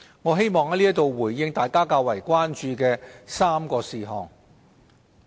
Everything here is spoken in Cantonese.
我希望在此回應大家較為關注的3個事項。